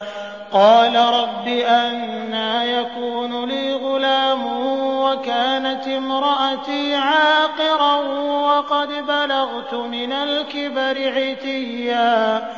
قَالَ رَبِّ أَنَّىٰ يَكُونُ لِي غُلَامٌ وَكَانَتِ امْرَأَتِي عَاقِرًا وَقَدْ بَلَغْتُ مِنَ الْكِبَرِ عِتِيًّا